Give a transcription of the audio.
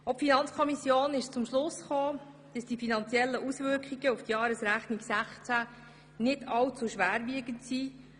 Die Finanzkommission kam zum Schluss, dass die finanziellen Auswirkungen auf die Jahresrechnung 2016 nicht allzu schwerwiegend sind.